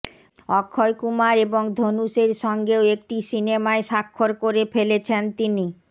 অক্ষয় কুমার এবং ধনুষের সঙ্গেও একটি সিনেমায় স্বাক্ষর করে ফেলেছেন তিনি